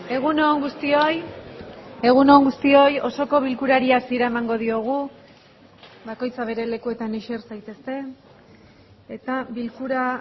egun on guztioi egun on guztioi osoko bilkurari hasiera emango diogu bakoitza bere lekuetan eser saiteste eta bilkura